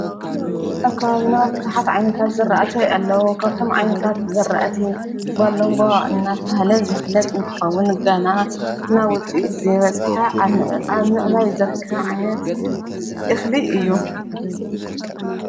ኣብ ከባቢና ብዙሓት ዓይነታት ዝራእቲ ኣለዉ ካብቶም ዓይነታት ዝራእቲ ባለንጓ እናተብሃለ ዝፍለጥ እንትኸውን ገና ናብ ውፅኢት ዘይበጽሐ ኣብ ምዕባይ ዝርከብ ዓይነት እኽሊ እዩ